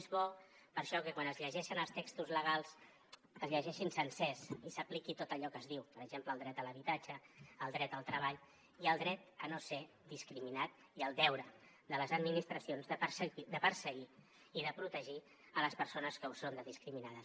és bo per això que quan es llegeixen els textos legals es llegeixin sencers i s’apliqui tot allò que s’hi diu per exemple el dret a l’habitatge el dret al treball i el dret a no ser discriminat i el deure de les administracions de perseguir i de protegir les persones que ho són de discriminades